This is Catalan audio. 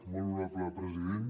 molt honorable president